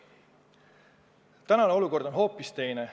Praegune olukord on hoopis teine.